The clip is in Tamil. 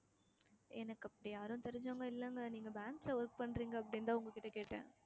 எனக்கு அப்படி யாரும் தெரிஞ்சவங்க இல்லைங்க நீங்க bank ல work பண்றீங்க அப்படின்னுதான் உங்ககிட்ட கேட்டேன்